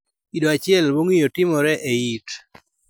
Kido achiel mong'iyo timore e it.